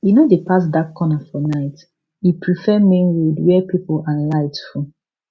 e no dey pass dark corner for night e prefer main road wey people and light full